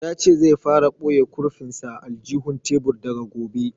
Ya ce zai fara boye kurfin sa a aljihun tebur daga gobe